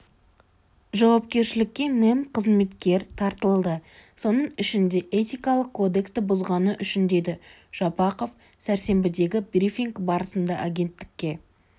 жауапкершілікке мемқызметкер тартылды соның ішінде этикалық кодексті бұзғаны үшін деді жапақов сәрсенбідегі брифинг барысында агенттікке